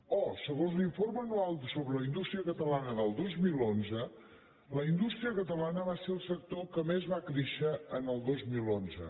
o segons l’informe anual sobre la indústria catalana del dos mil onze la indústria catalana va ser el sector que més va créixer el dos mil onze